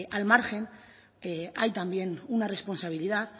al margen que hay también una responsabilidad